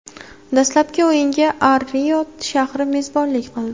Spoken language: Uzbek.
Dastlabki o‘yinga Ar-Riyod shahri mezbonlik qildi.